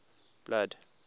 blood